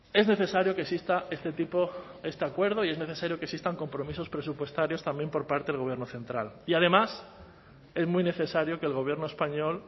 es necesario que exista este tipo este acuerdo y es necesario que existan compromisos presupuestarios también por parte del gobierno central y además es muy necesario que el gobierno español